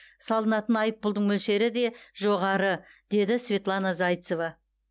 салынатын айыппұлдың мөлшері де жоғары деді светлана зайцева